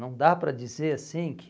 Não dá para dizer assim que...